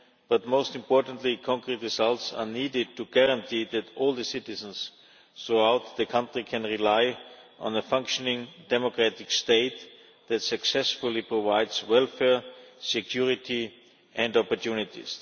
But, most importantly, concrete results are needed to guarantee that all the citizens throughout the country can rely on a functioning democratic state that successfully provides welfare, security and opportunities.